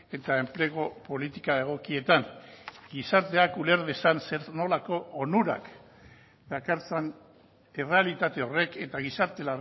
eta enplegu politika egokietan gizarteak uler dezan zer nolako onurak dakartzan errealitate horrek eta gizarte